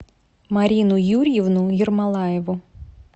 марину юрьевну ермолаеву